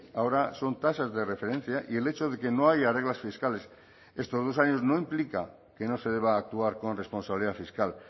ahora son tasas de referencia y el hecho de que no haya reglas fiscales estos dos años no implica que no se deba actuar con responsabilidad fiscal